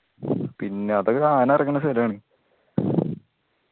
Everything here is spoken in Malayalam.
പിന്നെ അതൊക്കെ ആന ഇറങ്ങണ സ്ഥലാണ്